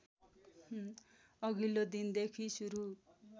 अघिल्लो दिनदेखि सुरु